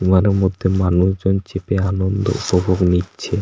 Steamer -এর মধ্যে মানুষজন চেপে আনন্দ উপভোগ নিচ্ছে।